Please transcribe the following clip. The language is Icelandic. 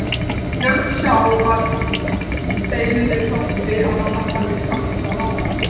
Björn sá að Steinunni þótti að hann hafði hastað á hana.